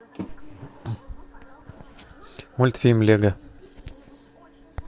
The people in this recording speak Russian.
мультфильм лего